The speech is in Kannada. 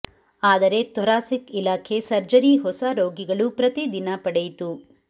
ಆದರೆ ಥೊರಾಸಿಕ್ ಇಲಾಖೆ ಸರ್ಜರಿ ಹೊಸ ರೋಗಿಗಳು ಪ್ರತಿ ದಿನ ಪಡೆಯಿತು